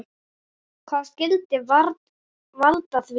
Hvað skyldi valda því?